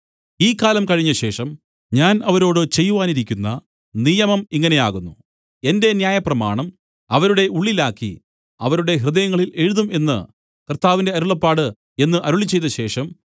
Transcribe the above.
ഈ കാലം കഴിഞ്ഞശേഷം ഞാൻ അവരോട് ചെയ്‌വാനിരിക്കുന്ന നിയമം ഇങ്ങനെയാകുന്നു എന്റെ ന്യായപ്രമാണം അവരുടെ ഉള്ളിലാക്കി അവരുടെ ഹൃദയങ്ങളിൽ എഴുതും എന്നു കർത്താവിന്റെ അരുളപ്പാട് എന്നു അരുളിച്ചെയ്തശേഷം